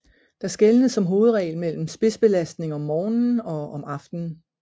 Der skelnes som hovedregel mellem spidsbelastning om morgenen og om aftenen